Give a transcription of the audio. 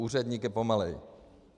Úředník je pomalej.